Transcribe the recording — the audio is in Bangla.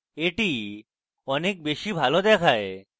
এটি অনেক বেশী ভালো দেখায়